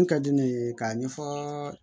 Mun ka di ne ye k'a ɲɛfɔ